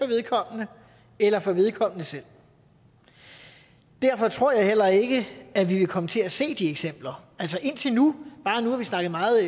vedkommende eller for vedkommende selv derfor tror jeg heller ikke at vi vil komme til at se de eksempler nu har vi snakket meget